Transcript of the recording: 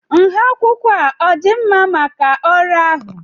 nha akwụkwọ a ọ dị mma maka ọrụ ahụ?